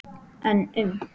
En um?